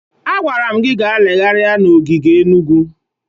Agwara m gị gaa legharịa n'ogige Enugwu!